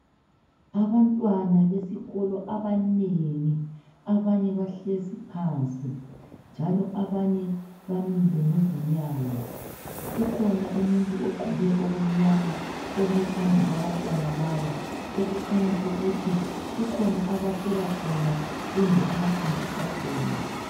Abantwana besikolo abanengi abanye bahlezi phansi kanye labamileyo. kukhona umuntu ogqoke okumnyama ome phambi kwabantwana laba okukhanya ukuthi kukhona abatshela khona Kumbe abafundisa ngakho